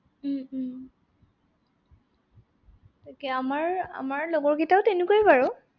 উম উম তাকে আমাৰ, আমাৰ লগৰকেইটাও তেনেকুৱাই বাৰু।